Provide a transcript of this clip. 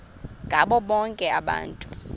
ngabo bonke abantu